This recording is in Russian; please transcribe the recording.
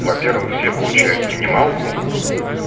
во-первых все получают минималку